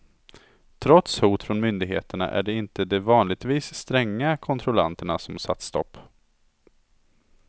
Trots hot från myndigheterna är det inte de vanligtvis stränga kontrollanterna som satt stopp.